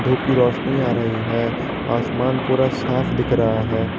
धूप की रोशनी आ रही है आसमान पूरा साफ दिख रहा है।